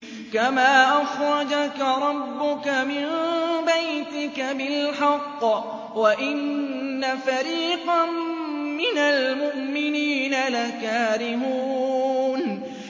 كَمَا أَخْرَجَكَ رَبُّكَ مِن بَيْتِكَ بِالْحَقِّ وَإِنَّ فَرِيقًا مِّنَ الْمُؤْمِنِينَ لَكَارِهُونَ